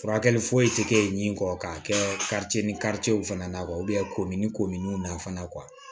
Furakɛli foyi tɛ kɛ ɲi kɔ k'a kɛ ni w fana komi ni kominnu na fana